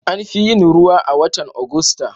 An fi yin ruwa a watan Agusta.